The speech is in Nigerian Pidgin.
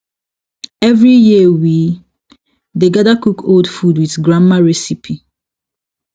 every year we dey gather cook old food with grandma recipe